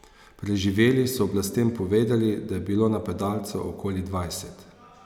Preživeli so oblastem povedali, da je bilo napadalcev okoli dvajset.